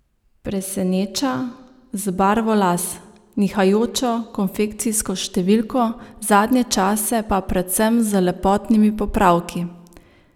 Preseneča z barvo las, nihajočo konfekcijsko številko, zadnje čase pa predvsem z lepotnimi popravki.